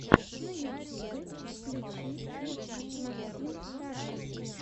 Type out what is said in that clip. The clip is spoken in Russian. на ютьюбе включи итс максимтаран